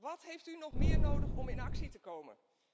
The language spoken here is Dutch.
Wat heeft u nog meer nodig om in actie te komen?